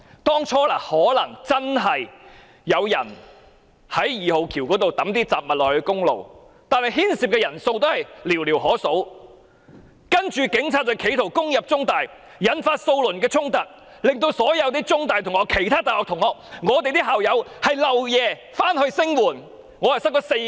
當初或許真的有人從二號橋拋擲雜物到公路上，但牽涉人數應寥寥可數，警方卻因此企圖攻入中大，引發數輪衝突，令所有中大同學、其他大學同學和我們這些校友要連夜趕回校園聲援。